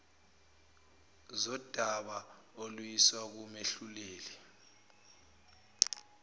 zodaba oluyiswa kumehluleli